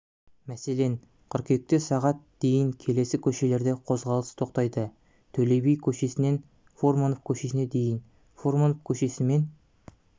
мәселен қыркүйекте сағат дейін келесі көшелерде қозғалыс тоқтайды төле би кө-сінен фурманов көшесіне дейін фурманов көшесімен